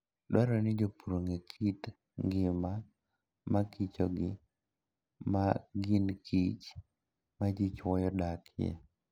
Dwarore ni jopur ong'e kit ngima makichogi ma ginkich ma ji chwoyo dakie.